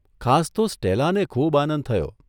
ખાસ તો સ્ટેલાને ખૂબ આનંદ થયો.